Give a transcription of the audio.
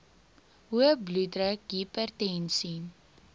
hoë bloeddruk hipertensie